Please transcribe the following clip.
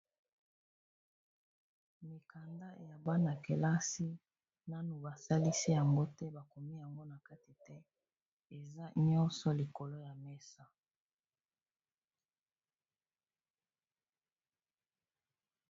Mikanda ya bana kelasi nanu basalisi yango te bakomi yango na kati te eza nyonso likolo ya mesa.